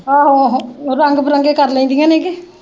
ਆਹੋ ਆਹੋ ਰੰਗ ਬਿਰੰਗੇ ਕਰ ਲੈਂਦੀਆਂ ਕਰੇ ਨੇ ਕੇ।